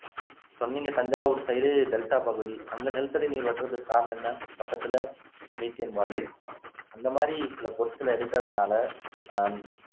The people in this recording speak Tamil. சொன்னீங்க தஞ்சாவூர் side டெல்டா பகுதிஅங்க நிலத்தடி நீர் வற்றறதுக்கு காரணம் என்ன பக்கத்துல methane வாயு அந்த மாதிரி சில பொருட்கள எடுக்குறதுனால ஆஹ்